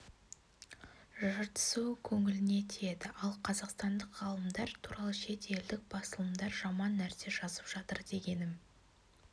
жыртысуы көңіліңе тиеді ал қазақстандық ғалымдар туралы шет елдік басылымдар жаман нәрсе жазып жатыр дегенім